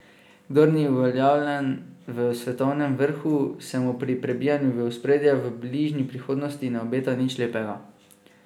Kdor ni uveljavljen v svetovnem vrhu, se mu pri prebijanju v ospredje v bližnji prihodnosti ne obeta nič lepega.